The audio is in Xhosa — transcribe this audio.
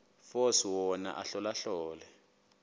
force wona ahlolahlole